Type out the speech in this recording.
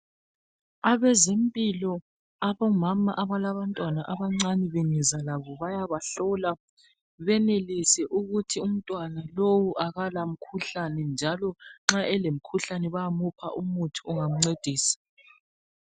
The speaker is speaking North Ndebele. Abazempilo, abomama abalabantwana abancane bengeza labo bayabahlola benelise ukuthi umntwana lowu akala mkhuhlane njalo nxa elomkhuhlane bayamupha umuthi wokubancedisa.